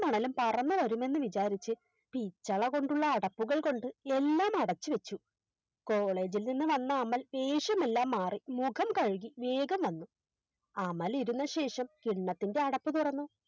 പറന്നു വരുമെന്ന് വിചാരിച്ച് പിച്ചളകൊണ്ടുള്ള അടപ്പുകൾകൊണ്ട് എല്ലാം അടച്ചു വെച്ചു College ഇൽ നിന്നും വന്ന അമൽ വേഷമെല്ലാം മാറി മുഖം കഴുകി വേഗം വന്നു അമൽ ഇരുന്ന ശേഷം കിണ്ണത്തിൻറെ അടപ്പു തുറന്നു